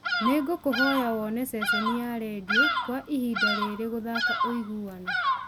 nĩ ngũkũhoya woone ceceni ya rĩndiũ kwa ihinda rĩrĩ gũthaaka ũiguano